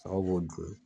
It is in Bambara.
Saga b'o dun